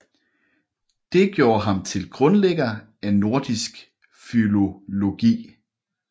Det gjorde ham til grundlægger af nordisk filologi